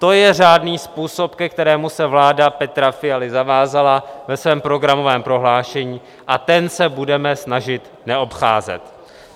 To je řádný způsob, ke kterému se vláda Petra Fialy zavázala ve svém programovém prohlášení, a ten se budeme snažit neobcházet.